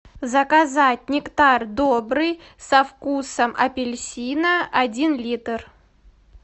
заказать нектар добрый со вкусом апельсина один литр